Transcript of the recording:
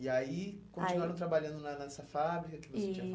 E aí, aí continuaram trabalhando nessa fábrica que você tinha fa...